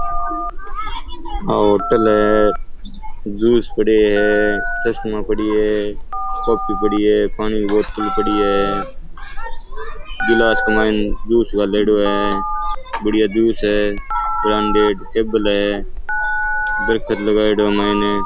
ओ होटल है जूस पड़यो है चस्माे पड़यो है कॉपी पड़ी है पानी की बोतल पड़ी है गिलास के माय जूस गालेडो है बढ़िया जूस है ब्रांडेड टेबल है दरकत लगायोड़ो है मायने।